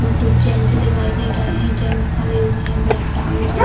इसमें कुछ जेंट्स दिखाई दे रहे है जेंट्स खड़े हुए है बैग टांगकर।